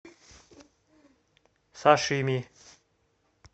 сашими